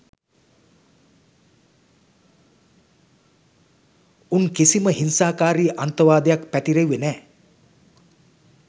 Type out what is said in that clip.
උන් කිසිම හිංසාකාරී අන්තවාදයක් පතිරෙව්වුවේ නැ